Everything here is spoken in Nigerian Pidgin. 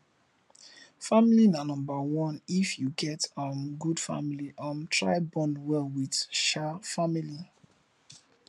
family na number one if you get um good family um try bond well with um family